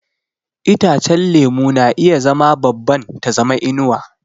Itacen lemu na iya zama babban ta zama inuwa.